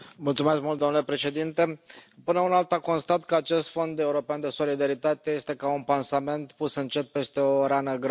Domnule președinte, până una alta, constat că acest Fond european de solidaritate este ca un pansament pus încet peste o rană gravă.